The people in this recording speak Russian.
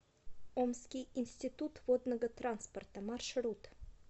омский институт водного транспорта маршрут